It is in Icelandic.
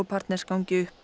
partners gangi upp og